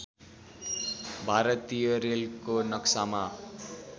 भारतीय रेलको नक्सामा